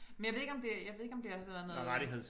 Men jeg ved ikke om det jeg ved ikke om det har været noget øh